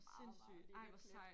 Meget meget lille plet